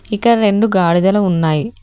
ఇక్కడ రెండు గాడిదలు ఉన్నాయి.